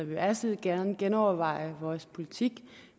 vil altid gerne genoverveje vores politik